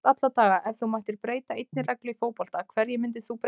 Flest alla daga Ef þú mættir breyta einni reglu í fótbolta, hverju myndir þú breyta?